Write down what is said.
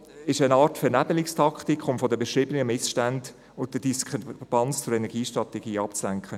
Es gibt eine Art Vernebelungstaktik, um von den verschiedenen Missständen und der Diskrepanz zur Energiestrategie abzulenken.